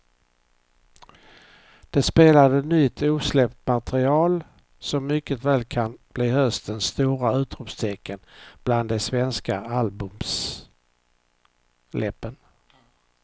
De spelade nytt osläppt material som mycket väl kan bli höstens stora utropstecken bland de svenska albumsläppen.